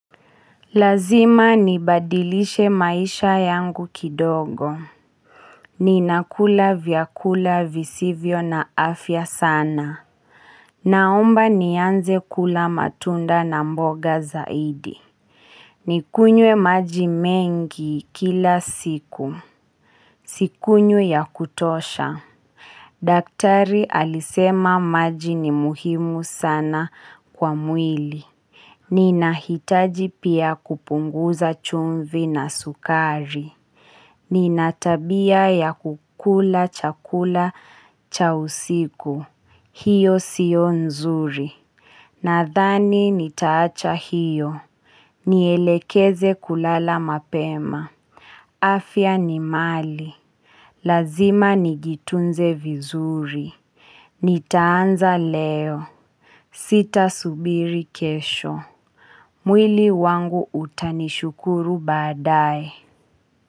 Lazima nibadilishe maisha yangu kidogo. Ninakula vyakula visivyo na afya sana. Naomba nianze kula matunda na mboga zaidi. Nikunywe maji mengi kila siku. Sikunywi ya kutosha. Daktari alisema maji ni muhimu sana kwa mwili. Ninahitaji pia kupunguza chumvi na sukari Nina tabia ya kukula chakula cha usiku hiyo siyo nzuri, nadhani nitaacha hiyo Nielekeze kulala mapema, afya ni mali Lazima nijitunze vizuri. Nitaanza leo Sitasubiri kesho. Mwili wangu utanishukuru baadaye.